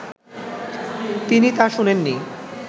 তিনি তা শোনেননি